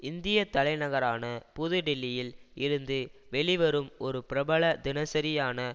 இந்திய தலைநகரான புது டில்லியில் இருந்து வெளிவரும் ஒரு பிரபல தினசரியான